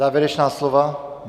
Závěrečná slova?